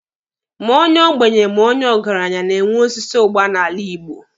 Ma onye ogbenye ma onye ọgaranya na-enwe osisi ụgba n'ala Igbo.